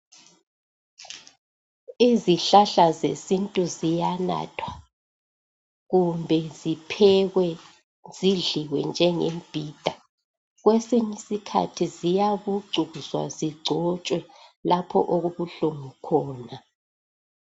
izihlahla zesintu ziyanathwa kumbe ziphekwe zidliwe njengembhida kwesinye isikhathi ziyabucuzwa zigcotshwe lapho okubuhlungu khona